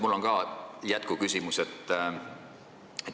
Mul on ka jätkuküsimus.